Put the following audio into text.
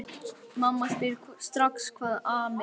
Mamma spyr strax hvað ami að.